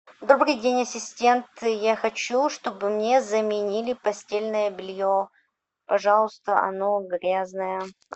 добрый день ассистент я хочу чтобы мне заменили постельное белье пожалуйста оно грязное